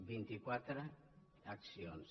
vint·i·quatre accions